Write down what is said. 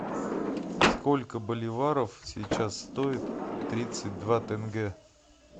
сколько боливаров сейчас стоит тридцать два тенге